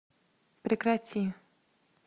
прекрати